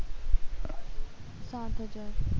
પાંચ હજાર